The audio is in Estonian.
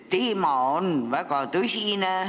Teema on väga tõsine.